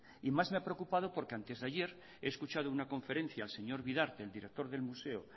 y más me ha preocupado porque antes de ayer he escuchado una conferencia al señor vidarte al director del museo